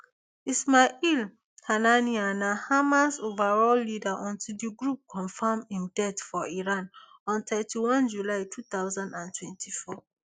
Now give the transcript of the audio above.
ismail haniyeh na hamas overall leader until di group confam im death for iran on thirty-one july two thousand and twenty-four